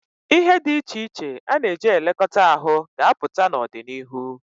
Ihe dị iche iche a na-eji elekọta ahụ ga-apụta n'ọdịnihu.